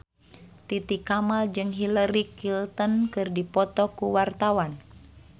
Titi Kamal jeung Hillary Clinton keur dipoto ku wartawan